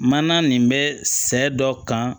Mana nin bɛ sɛ dɔ kan